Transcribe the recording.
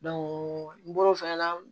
n bɔr'o fɛnɛ na